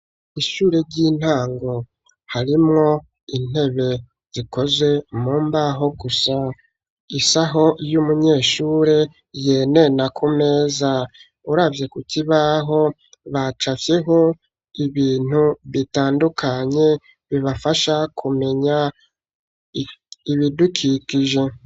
Ishure ry'intango harimwo intebe zikoze mu mbaho gusa isaho y'umunyeshure yene na ku meza uravye ku kibaho bacafhyeho ibintu bitandukanye bibafasha kumenya ibidukikije.